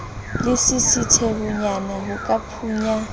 le lesisithehonyana ho ka phunya